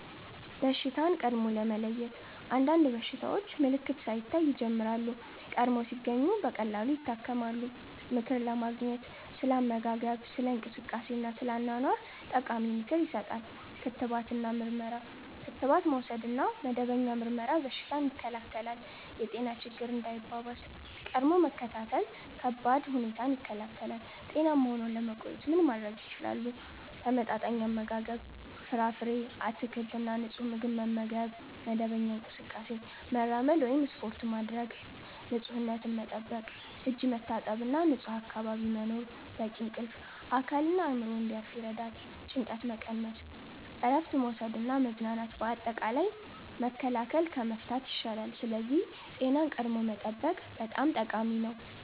በሽታን ቀድሞ ለመለየት – አንዳንድ በሽታዎች ምልክት ሳይታይ ይጀምራሉ፤ ቀድሞ ሲገኙ ቀላል ይታከማሉ። ምክር ለማግኘት – ስለ አመጋገብ፣ ስለ እንቅስቃሴ እና ስለ አኗኗር ጠቃሚ ምክር ይሰጣል። ክትባት እና ምርመራ – ክትባት መውሰድ እና መደበኛ ምርመራ በሽታን ይከላከላል። የጤና ችግኝ እንዳይባባስ – ቀድሞ መከታተል ከባድ ሁኔታን ይከላከላል። ጤናማ ሆነው ለመቆየት ምን ማድረግ ይችላሉ? ተመጣጣኝ አመጋገብ – ፍራፍሬ፣ አትክልት እና ንጹህ ምግብ መመገብ። መደበኛ እንቅስቃሴ – መራመድ ወይም ስፖርት ማድረግ። ንፁህነት መጠበቅ – እጅ መታጠብ እና ንጹህ አካባቢ መኖር። በቂ እንቅልፍ – አካልና አእምሮ እንዲያርፍ ይረዳል። ጭንቀት መቀነስ – እረፍት መውሰድ እና መዝናናት። አጠቃላይ፣ መከላከል ከመፍታት ይሻላል፤ ስለዚህ ጤናን ቀድሞ መጠበቅ በጣም ጠቃሚ ነው።